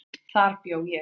Þar bjó ég.